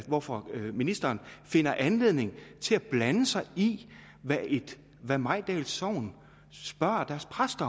hvorfor ministeren finder anledning til at blande sig i hvad i hvad mejdal sogn spørger deres præst